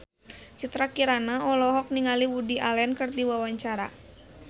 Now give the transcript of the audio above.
Citra Kirana olohok ningali Woody Allen keur diwawancara